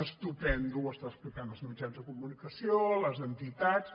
estupendo ho està explicant als mitjans de comunicació a les entitats